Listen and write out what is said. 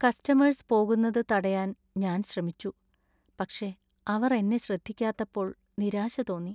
Customers പോകുന്നത് തടയാൻ ഞാൻ ശ്രമിച്ചു, പക്ഷേ അവർ എന്നെ ശ്രദ്ധിക്കാത്തപ്പോൾ നിരാശ തോന്നി.